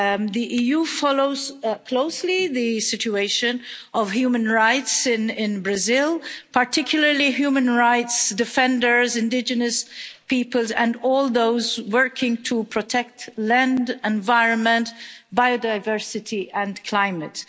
The EU follows closely the situation of human rights in Brazil, particularly human rights defenders, indigenous peoples and all those working to protect land, environment, biodiversity and climate.